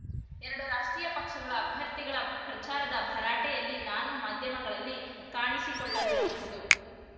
ಎರಡು ರಾಷ್ಟ್ರೀಯ ಪಕ್ಷಗಳ ಅಭ್ಯರ್ಥಿಗಳ ಪ್ರಚಾರದ ಭರಾಟೆಯಲ್ಲಿ ನಾನು ಮಾಧ್ಯಮಗಳಲ್ಲಿ ಕಾಣಿಸಿಕೊಳ್ಳದಿರಬಹುದು